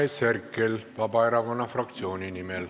Andres Herkel Vabaerakonna fraktsiooni nimel.